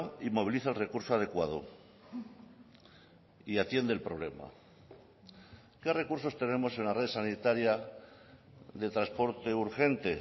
y moviliza el recurso adecuado y atiende el problema qué recursos tenemos en la red sanitaria de transporte urgente